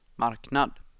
marknad